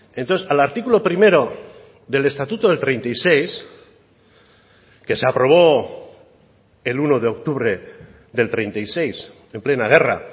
entonces al artículo primero del estatuto del treinta y seis que se aprobó el uno de octubre del treinta y seis en plena guerra